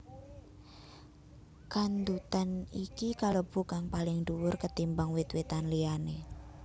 Kandutan iki kalebu kang paling duwur ketimbang wit witan liyané